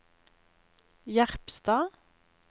Jerpstad